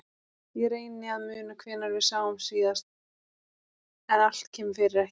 Ég reyni að muna hvenær við sáumst síðast en allt kemur fyrir ekki.